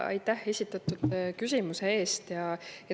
Aitäh esitatud küsimuse eest!